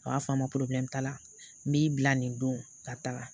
a b'a fɔ a ma t'a la n b'i bila nin don ka taa